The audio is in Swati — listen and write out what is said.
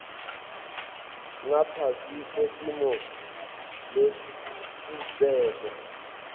ngaphasi kwetimo letitsite